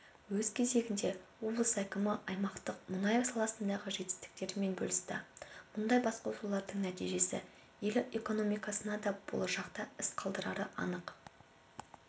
өз кезегінде облыс әкімі аймақтың мұнай саласындағы жетістіктерімен бөлісті мұндай басқосулардың нәтижесі ел экономикасына да болашақта із қалдырары анық